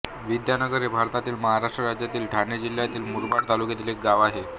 विद्यानगर हे भारतातील महाराष्ट्र राज्यातील ठाणे जिल्ह्यातील मुरबाड तालुक्यातील एक गाव आहे